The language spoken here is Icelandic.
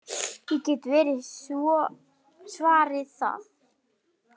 Ég get svo svarið það.